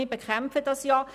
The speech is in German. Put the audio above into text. wir bekämpfen es ja.